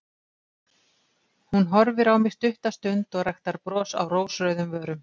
Hún horfir á mig stutta stund og ræktar bros á rósrauðum vörum.